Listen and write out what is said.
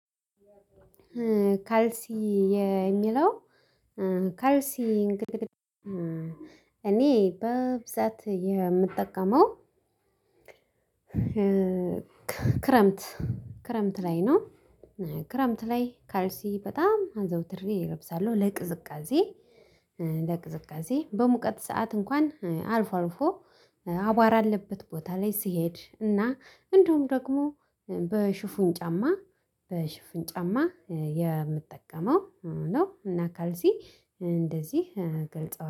ካልሲ የሚለው ካልሲ። እኔ በብዛት የምጠቀመው ክረምት ክረምት ላይ ነው። ክረምት ላይ ካልሲ በጣም አዘውትሬ እለብሳለሁ ለቅዝቃዜ። ለቅዝቃዜ በሙቀት ሰዓት እንኳን አልፎ አልፎ አቧራ አለበት ቦታ ላይ ስሄድ እና እንደውም ደግሞ በሽፉን ጫማ በሽፉን ጫማ የምጠቀመው ነው። እና ካልሲ እንደዚህ ገልጸዋል